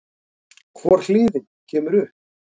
Hvor hliðin kemur upp?